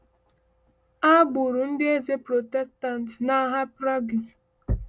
A gburu ndị eze Protestant n’ahịa Prague.